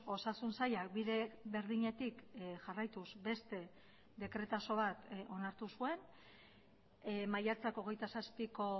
osasun sailak bide berdinetik jarraituz beste dekretaso bat onartu zuen maiatzak hogeita zazpiko